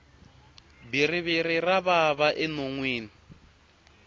bhiriviri ra vava enonwini